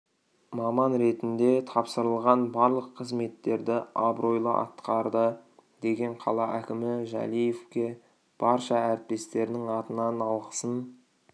маман ретінде тапсырылған барлық қызметтерді абыройлы атқарды деген қала әкімі жәлиевке барша әріптестерінің атынан алғысын